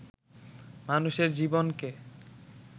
মানুষের জীবনকে